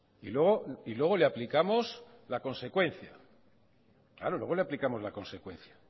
y luego le aplicamos la consecuencia